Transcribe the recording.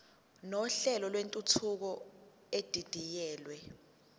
nohlelo lwentuthuko edidiyelwe